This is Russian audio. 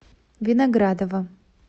виноградова